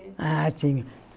Ah, tinha.